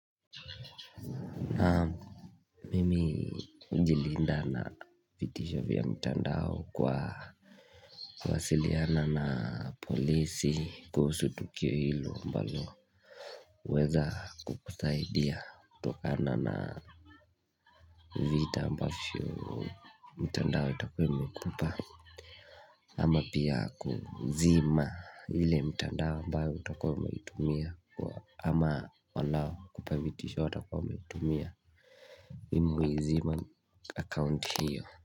Naam Mimi hujilinda na vitisho vya mtandao kwa kuwasiliana na polisi kuhusu tukio hilo mbalo weza kukusaidia kutokana na vita ambavyio mtandao itakua imekupa ama pia kuzima ile mtandao ambayo utakua umeitumia ama walau kupavitisho watakua wameitumia Mimi huiziman account hio.